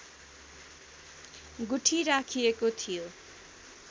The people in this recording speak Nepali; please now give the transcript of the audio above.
गुठी राखिएको थियो